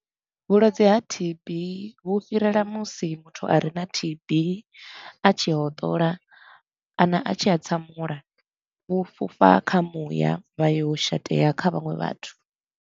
Vhulwadze ha T_B vhu fhirela musi muthu a re na T_B a tshi hotola kana a tshi hatsamula, vhu fhufha kha muya vha yo shatea kha vhaṅwe vhathu.